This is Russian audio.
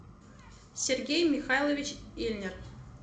сергей михайлович ильнер